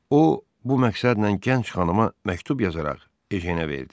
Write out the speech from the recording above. O bu məqsədlə gənc xanıma məktub yazaraq Ejenə verdi.